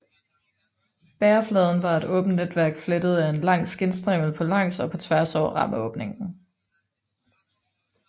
Bærefladen var et åbent netværk flettet af en lang skindstrimmel på langs og på tværs over rammeåbningen